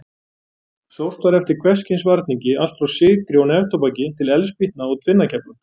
Sóst var eftir hvers kyns varningi, allt frá sykri og neftóbaki til eldspýtna og tvinnakefla.